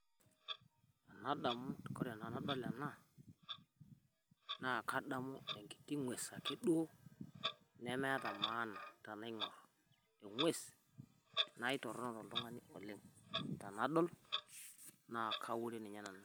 Ena damu koree tenadol nadamu enkiti ng'ues nemeeta maana naitorono toltungani oleng tenadol naa kawure ninye nanu